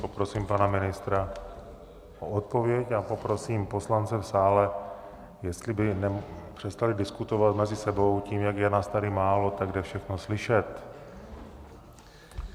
Poprosím pana ministra o odpověď a poprosím poslance v sále, jestli by přestali diskutovat mezi sebou, tím, jak je nás tady málo, tak je všechno slyšet.